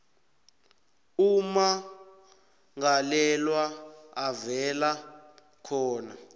ummangalelwa avela khona